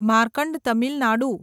Markand Tamil Nadu